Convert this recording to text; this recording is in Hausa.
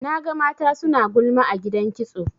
Naga mata suna gulma a gidan kitso.